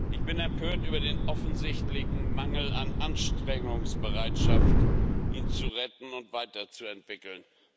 Ich bin empört über den offensichtlichen Mangel an Anstrengungsbereitschaft, ihn zu retten und weiterzuentwickeln.